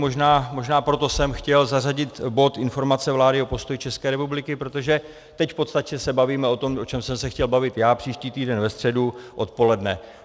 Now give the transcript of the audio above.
Možná proto jsem chtěl zařadit bod informace vlády o postoji České republiky, protože teď v podstatě se bavíme o tom, o čem jsem se chtěl bavit já příští týden ve středu odpoledne.